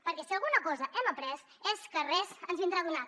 perquè si alguna cosa hem après és que res ens vindrà donat